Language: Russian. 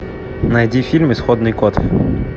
найди фильм исходный код